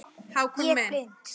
Ég blind